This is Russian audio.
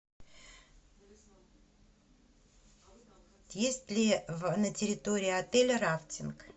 есть ли на территории отеля рафтинг